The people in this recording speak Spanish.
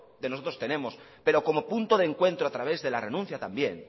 de nosotros tenemos pero como punto de encuentro a través de la renuncia también